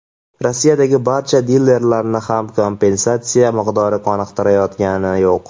Rossiyadagi barcha dilerlarni ham kompensatsiya miqdori qoniqtirayotgani yo‘q.